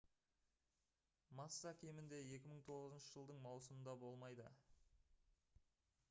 масса кемінде 2009 жылдың маусымында болмайды